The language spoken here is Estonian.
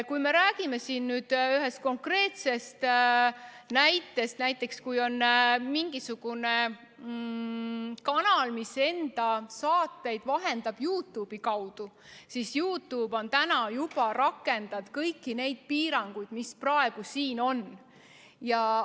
Kui on mingisugune kanal, mis vahendab enda saateid YouTube'i kaudu, siis YouTube juba rakendab kõiki neid piiranguid, mis praegu siin direktiivis on.